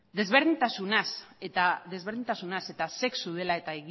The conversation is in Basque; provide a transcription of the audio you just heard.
desberdintasunaz eta sexu dela eta